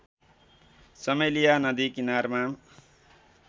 चमेलिया नदी किनारमा